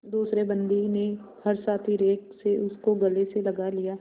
दूसरे बंदी ने हर्षातिरेक से उसको गले से लगा लिया